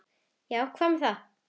Já, hvað með það?